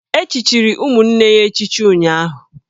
E chichiri ụmụnne ya niile echichi ụnyụahụ